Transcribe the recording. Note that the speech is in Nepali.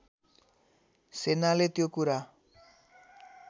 सेनाले त्यो कुरा